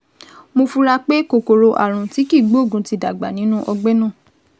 Mo fura pé kòkòrò ààrùn tí kìí gbóògùn ti dàgbà nínú ọgbẹ́ náà